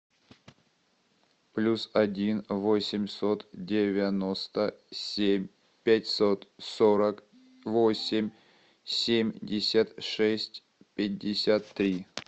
плюс один восемьсот девяносто семь пятьсот сорок восемь семьдесят шесть пятьдесят три